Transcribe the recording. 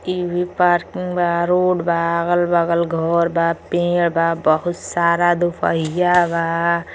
इ भी पार्किंग बा रोड बा अगल बगल घर बा पेड़ बा बहुत सारा दुपहिया बा।